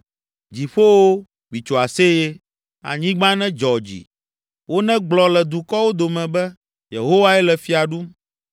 Dziƒowo, mitso aseye, anyigba nedzɔ dzi. Wonegblɔ le dukɔwo dome be, “Yehowae le fia ɖum.”